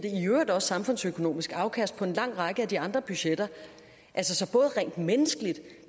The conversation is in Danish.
samfundsøkonomisk afkast på en lang række af de andre budgetter altså både rent menneskeligt